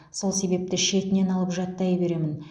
сол себепті шетінен алып жаттай беремін